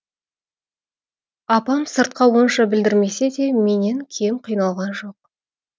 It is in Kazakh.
апам сыртқа онша білдірмесе де менен кем қиналған жоқ